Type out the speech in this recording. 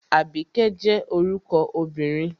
Àbíkẹ́ jẹ́ orúkọ obìnrin